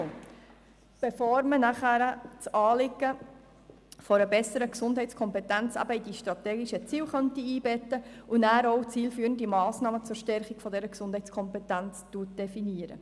Diese Analyse sollte erfolgen, bevor man das Anliegen einer besseren Gesundheitskompetenz in die strategischen Ziele einbettet und nachher auch zielführende Massnahmen zur Stärkung derselben definiert.